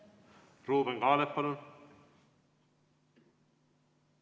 Ruuben Kaalep, palun!